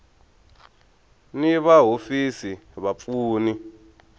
ni va hofisi va vapfuni